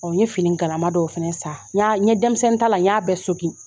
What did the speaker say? N ɲe fini galama dɔw fɛnɛ sa, n ɲe denmisɛnnin ta la, n y'a bɛ sokin